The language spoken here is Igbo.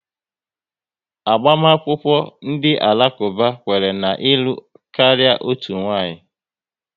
Agbamakwụkwọ ndị Alakuba, kwere na ịlụ karịa otu nwaanyị